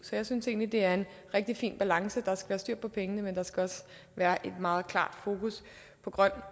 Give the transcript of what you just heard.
så jeg synes egentlig det er en rigtig fin balance der skal være styr på pengene men der skal også være et meget klart fokus på grøn